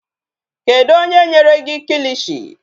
Kedụ onye nyere gị kilishi?